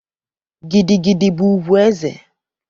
Gidi gidi bụ ugwu eze.